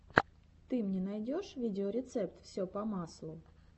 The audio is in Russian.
ты мне найдешь видеорецепт все по маслу